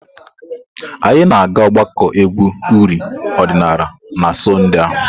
Anyị na-aga ogbako egwu uri odinala na Sọnde a.